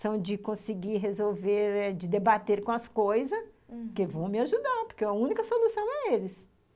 são de conseguir resolver, de debater com as coisas, uhum, que vão me ajudar, porque a única solução é eles.